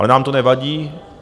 Ale nám to nevadí.